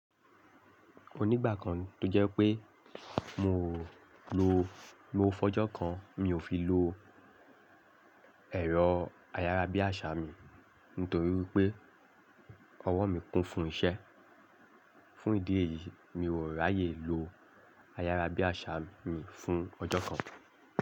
Onígbàkan tó jẹ́ pé mi ò lo lówó f'ọjọ́ kan, mi ò fi lo ẹ̀rọ ayárabíàṣá mi nítorí wipé ọwọ́ mi kún fún iṣẹ́. Fún ìdí èyí, mi ò ráyè lo ayárabíàṣá mi fún ọjọ́ kan.